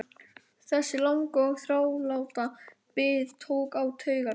Þessi langa og þráláta bið tók á taugarnar.